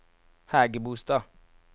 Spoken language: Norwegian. Hægebostad